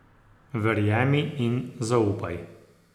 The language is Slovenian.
Verjemi in zaupaj.